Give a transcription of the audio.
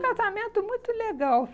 um casamento muito legal.